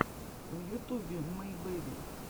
в ютубе мэй бэби